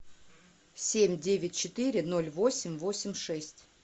семь девять четыре ноль восемь восемь шесть